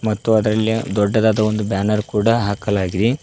ಮತ್ತು ಅದರಲ್ಲಿ ದೊಡ್ಡದಾದ ಒಂದು ಬ್ಯಾನರ್ ಕೂಡ ಹಾಕಲಾಗಿದೆ.